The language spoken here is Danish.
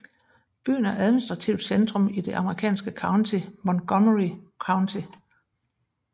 Byen er administrativt centrum i det amerikanske county Montgomery County